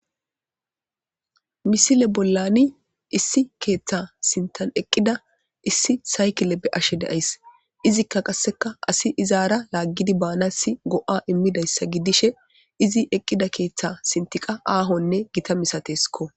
Misile bollanbisai keta sinthan eqida issi saykile be'ashe de'ayasi,izika qaseka assiy izara lagid baanas go''a imidysa gidishe izi eqida keeta sinthiyka aahone gita misatesko